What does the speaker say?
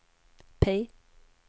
P